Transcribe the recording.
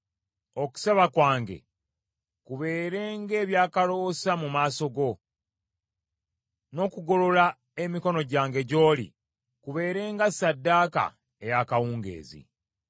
Okusaba kwange kubeere ng’ebyakaloosa mu maaso go, n’okugolola emikono gyange gy’oli kubeere nga ssaddaaka ey’akawungeezi.